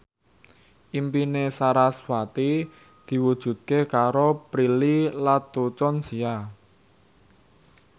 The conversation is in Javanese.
impine sarasvati diwujudke karo Prilly Latuconsina